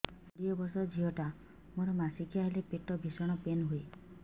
ମୁ କୋଡ଼ିଏ ବର୍ଷର ଝିଅ ଟା ମୋର ମାସିକିଆ ହେଲେ ପେଟ ଭୀଷଣ ପେନ ହୁଏ